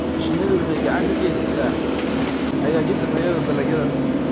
Shinnidu waxay gacan ka geysataa hagaajinta tayada dalagyada.